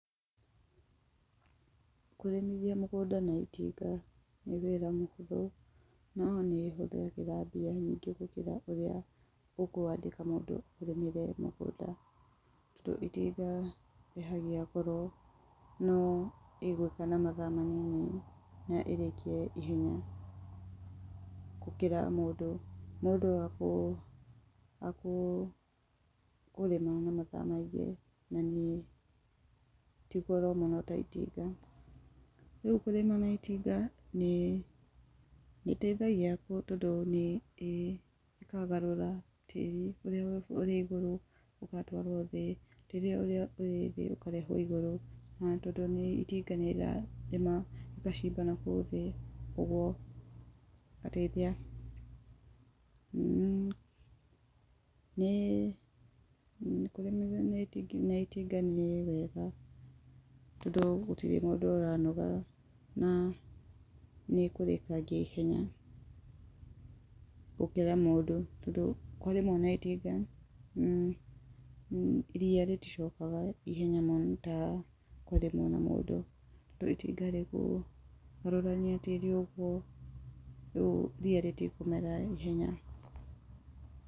Kũrĩmithia mũgũnda na itinga nĩ wĩra mũhũthũ. No nĩ ĩhũthagĩra bia nyingĩ gũkĩra ũrĩa ũkũandĩka mũndũ ũrĩmire mũgũnda tondũ itinga rĩrĩhagia goro no rĩgũika na mathaa manini na ĩrĩkie ihenya gũkĩra mũndũ. Mũndũ akũrĩma na mathaa maingĩ na nĩ, ti goro mũno ta itinga. Rĩu kũrĩma na itinga nĩ ĩteithagia tondũ nĩ ĩkagarũra tĩri ũrĩ igũrũ ũgatwarwo thĩ, ũria irĩ thĩ ũgatwarwo igũrũ na tondũ itinga nĩraciba na kũu thĩ ũguo ũgateithia [mmmh] nĩ kũrĩ, na itinga nĩ rĩega tondũ gũtirĩ mũndũ ũranoga na nĩ ĩkũrĩkangia naihenya gũkĩra mũndũ tondũ kwarĩmũo na itinga ria rĩticokaga ihenya ta kwarĩmũo nĩ mũndũ to itinga rĩkũgarũrania tĩri ũguo rĩu ria rĩtikũmera ihenya